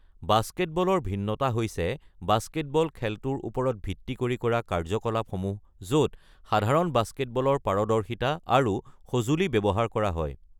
বাস্কেটবলৰ ভিন্নতা হৈছে বাস্কেটবল খেলটোৰ ওপৰত ভিত্তি কৰি কৰা কাৰ্য্যকলাপসমূহ য'ত সাধাৰণ বাস্কেটবলৰ পাৰদৰ্শিতা আৰু সঁজুলি ব্যৱহাৰ কৰা হয়।